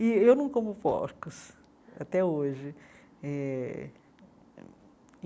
E eu não como porcos, até hoje eh.